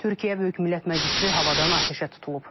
Türkiyə Böyük Millət Məclisi havadan atəşə tutulub.